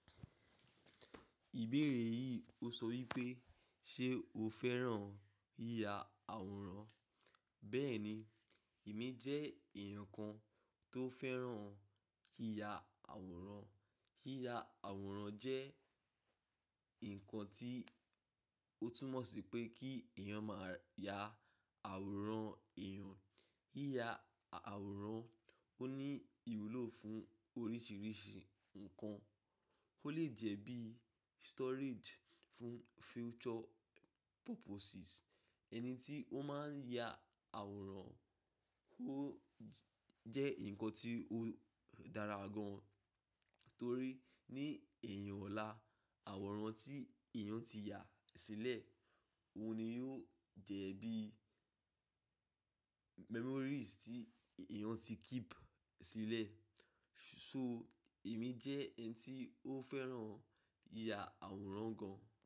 Ìbéèrè yìí ó sọ wípé, "Ṣé o fẹ́ràn yíya àwòrán?" Bẹ́ẹ̀ni, èmi jẹ́ èèyàn kan tó fẹ́ràn yíya àwòrán. Yíya àwòrán jẹ́ nǹkan tí ó túmọ̀ sí pé kí èèyàn máa ya àwòrán èèyàn. Yíya àwòrán ó ní ìwúlò fún oríṣiríṣi nǹkan. Ó lè jẹ́ bí storage fún future purposes. Ẹni tí ó máa ń ya àwòrán, ó j--, jẹ́ ǹnkan tí ó dára gan, torí ní ẹ̀yìn ọ̀la, àwòrán tí èèyàn ti ya sílẹ̀, òun ni yóò jẹ́ bí memories tí, i èèyàn ti keep sílẹ̀. So, èmi jẹ́ ẹni tí ó fẹ́ràn yíya àwòrán gan.